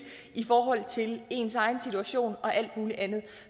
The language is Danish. i forhold til ens egen situation og alt muligt andet